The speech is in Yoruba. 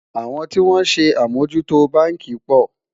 àwọn tí wón sé amò jù tó bánkì pò